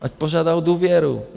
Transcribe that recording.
Ať požádá o důvěru!